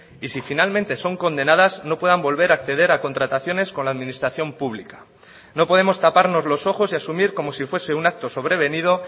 y si finalmente son condenadas no puedan volver a acceder a contrataciones con la administración pública no podemos taparnos los ojos y asumir como si fuese un acto sobrevenido